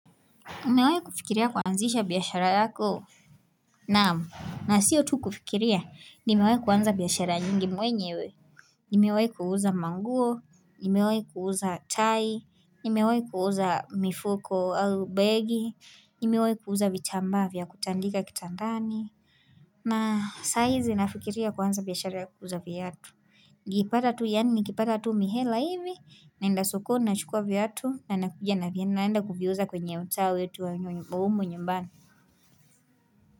Umewahi kufikiria kuanzisha biashara yako? Naam, na siyo tu kufikiria, nimewahi kuanza biashara nyingi mwenyewe. Nimewahi kuuza manguo, nimewahi kuuza tai, nimewahi kuuza mifuko au begi, nimewahi kuuza vitambaa vya kutandika kitandani, na saizi nafikiria kuanza biashara ya kuuza viatu. Nikipata tu yaani nikipata tu mihela hivi naenda sokoni nachukua viatu na nakuja na naenda kuviuza kwenye mtaa wetu wa humu nyumbani.